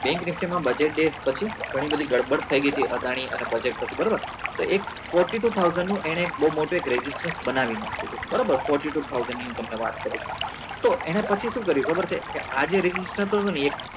nifty માં budget days પછી ગણી બધી ગડબડ થઇ ગઈ હતી અદાની અને બજેત પછી બરોબર તો એને એક fourty too thousand નું એને એક બઉ મોટું એક ragistrastion બનાવી નાખ્યું હતું બરાબર fourty too thousand ની હું તમને વાત કરું છું તો એને પછી શું કર્યું ખબર છે કે આ જે ragistrastion થતું હતું ને એ